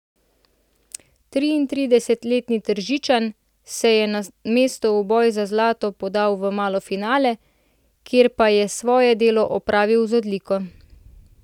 Triintridesetletni Tržičan se je na mesto v boj za zlato podal v malo finale, kjer pa je svoje delo opravil z odliko.